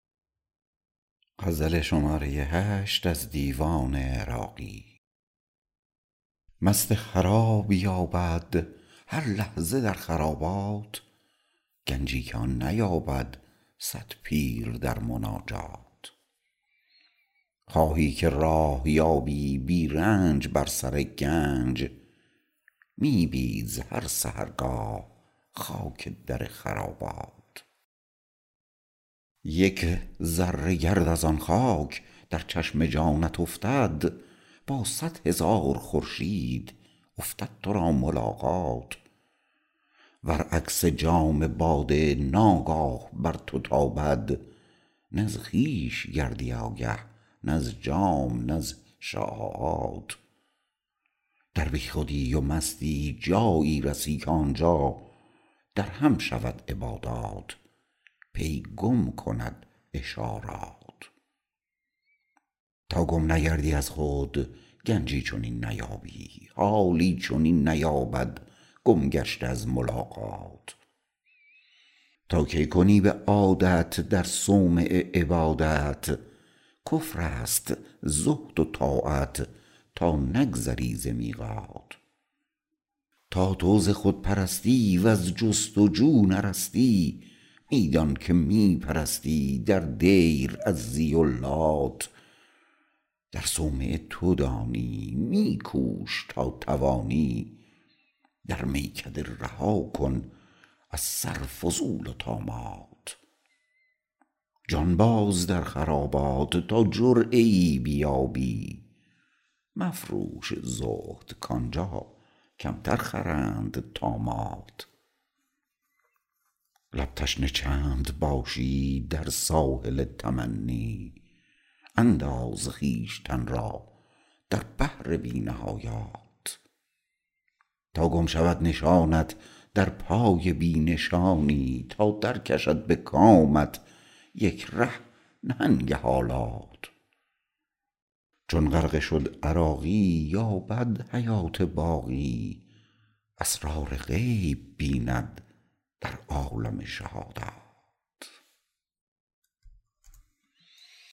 مست خراب یابد هر لحظه در خرابات گنجی که آن نیابد صد پیر در مناجات خواهی که راه یابی بی رنج بر سر گنج می بیز هر سحرگاه خاک در خرابات یک ذره گرد از آن خاک در چشم جانت افتد با صدهزار خورشید افتد تو را ملاقات ور عکس جام باده ناگاه بر تو تابد نز خویش گردی آگه نز جام نز شعاعات در بیخودی و مستی جایی رسی که آنجا در هم شود عبادات پی گم کند اشارات تا گم نگردی از خود گنجی چنین نیابی حالی چنین نیابد گم گشته از ملاقات تا کی کنی به عادت در صومعه عبادت کفر است زهد و طاعت تا نگذری ز میقات تا تو ز خودپرستی وز جست وجو نرستی می دان که می پرستی در دیر عزی و لات در صومعه تو دانی می کوش تا توانی در میکده رها کن از سر فضول و طامات جان باز در خرابات تا جرعه ای بیابی مفروش زهد کانجا کمتر خرند طامات لب تشنه چند باشی در ساحل تمنی انداز خویشتن را در بحر بی نهایات تا گم شود نشانت در پای بی نشانی تا در کشد به کامت یک ره نهنگ حالات چون غرقه شد عراقی یابد حیات باقی اسرار غیب بیند در عالم شهادات